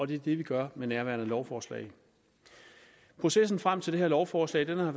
det er det vi gør med nærværende lovforslag processen frem til det her lovforslag har